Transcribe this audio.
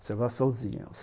Observaçãozinha.